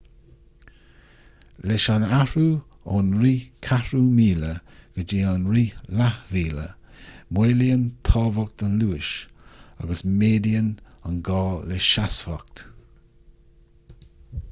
leis an athrú ón rith ceathrú míle go dtí an rith leath mhíle maolaíonn tábhacht an luais agus méadaíonn an gá le seasmhacht